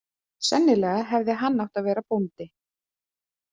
Sennilega hefði hann átt að vera bóndi.